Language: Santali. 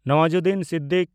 ᱱᱟᱣᱟᱡᱩᱫᱽᱫᱤᱱ ᱥᱤᱫᱽᱫᱤᱠᱤ